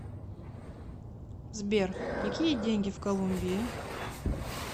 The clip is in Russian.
сбер какие деньги в колумбии